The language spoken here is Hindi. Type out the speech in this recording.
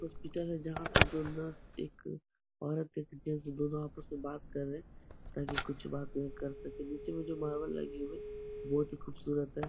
कुछ पिटे हुए जहाँ पर दो एक औरत एक जेंट्स दोनों आपस में बात कर रहे है ताकि कुछ बात बात कर सके नीचे में जो मार्बल लगी हुई है बहुत खूबसूरत है।